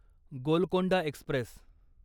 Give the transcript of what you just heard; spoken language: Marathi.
गोलकोंडा एक्स्प्रेस